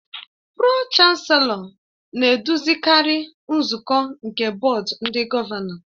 Pro-Chancelọ na-eduzikarị nzukọ nke Bọọdụ ndị Gọvanọ